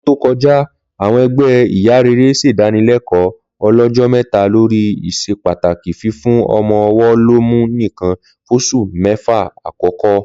Lọ́dún tó ko̩já, àwo̩n e̩gbé̩ ìyá rere s̩èdánilé̩kò̩ó̩ o̩ló̩jó̩ mé̩ta lórí ìs̩epàtàkì fífún o̩mo̩-o̩wó̩ lọ́mú nìkan fós̩ù mé̩fà àkó̩kó̩